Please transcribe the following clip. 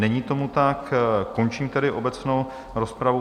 Není tomu tak, končím tedy obecnou rozpravu.